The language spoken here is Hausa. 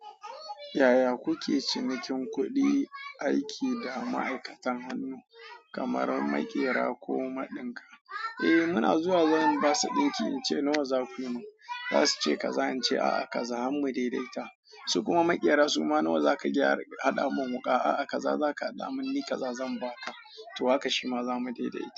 Yaya kuke cinikin kuɗi aiki da ma'aikata, kamar maƙera ko maɗin ka? Eh muna zuwa zan bashi dinki in ce nawa za ku yi min, za su ce ka zance a'a kaza har mu dai-daita. Su kuma maƙera su ma nawa za ka gyara haɗa mun wuƙa, a'a ka za ka haɗa mun ni ka za zan ba ka, to haka shi ma zamu dai-daita.